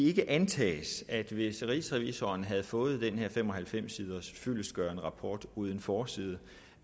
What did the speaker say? ikke antages at hvis rigsrevisoren havde fået den her fem og halvfems siders fyldestgørende rapport uden forside